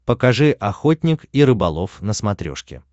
покажи охотник и рыболов на смотрешке